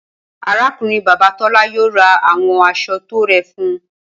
Arákùnrin-bàbá Tọ́lá yóò ra àwọn aṣọ tó rẹ fún un.